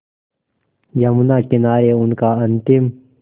यमुना किनारे उनका अंतिम